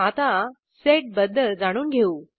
आता सेड बद्दल जाणून घेऊ